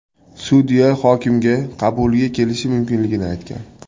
Sudya hokimga qabuliga kelishi mumkinligini aytgan.